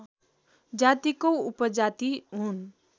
जातिको उपजाति हुन्